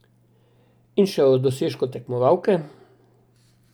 In še o dosežku tekmovalke.